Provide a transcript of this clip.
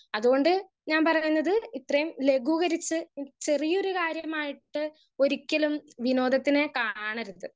Speaker 1 അതുകൊണ്ട് ഞാൻ പറഞ്ഞത് ഇത്രേം ലഘുകരിച്ച് ചെറിയൊരു കാര്യമായിട്ട് ഒരിക്കലും വിനോദത്തിനെ കാണാനെരുത്.